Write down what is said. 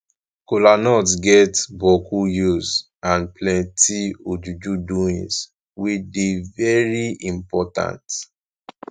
kolanut get bokku use and plenti ojuju doings wey dey very impotant